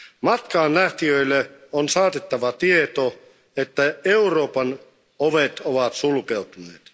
Matkaanlähtijöille on saatettava tieto, että Euroopan ovet ovat sulkeutuneet.